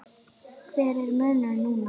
Hver er munurinn núna?